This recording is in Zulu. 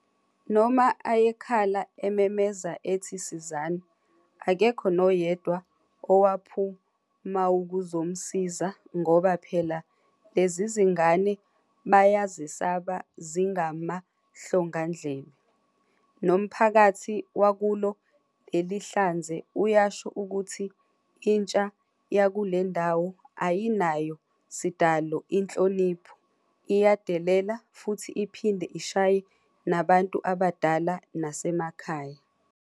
Noma ayekhala ememeza ethi sizani, akekho noyedwa owaphumaukuzomsiza ngoba phela lezizingane bayazesaba zingamahlongandlebe. Nomphakathi wakulo lelihlanze uyasho ukuthi intsha yakulendawo ayinayo sidalo inhlonipho, iyadelela futhi iphinde ishaye nabantu abadala nasemakhaya.